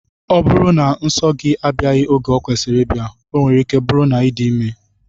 Ọ bụrụ na nso gị abịaghị oge ọ kwesịrị ịbịa, ọ nwere ike bụrụ na ị dị ime